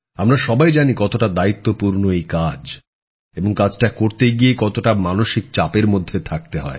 আমরা সবাই জানি কতটা দায়িত্বপূর্ণ এই কাজ এবং কাজটা করতে গিয়ে কতটা মানসিক চাপের মধ্যে থাকতে হয়